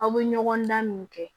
Aw bɛ ɲɔgɔndan min kɛ